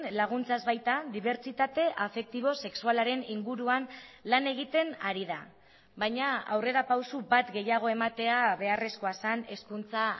laguntzaz baita dibertsitate afektibo sexualaren inguruan lan egiten ari da baina aurrerapauso bat gehiago ematea beharrezkoa zen hezkuntza